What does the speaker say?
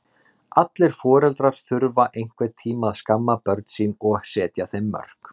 Allir foreldrar þurfa einhvern tíma að skamma börn sín og setja þeim mörk.